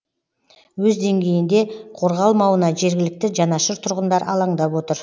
өз деңгейінде қорғалмауына жергілікті жанашыр тұрғындар алаңдап отыр